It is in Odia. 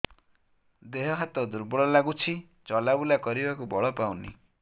ଦେହ ହାତ ଦୁର୍ବଳ ଲାଗୁଛି ଚଲାବୁଲା କରିବାକୁ ବଳ ପାଉନି